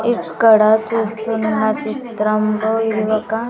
ఇక్కడ చూస్తున్న చిత్రంలో ఇది ఒక --